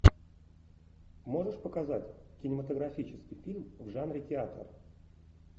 можешь показать кинематографический фильм в жанре театр